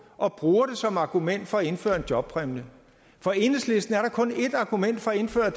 og bruger det som argument for at indføre en jobpræmie for enhedslisten er der kun et argument for at indføre